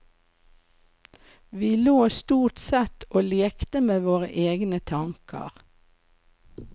Vi lå stort sett og lekte med våre egne tanker.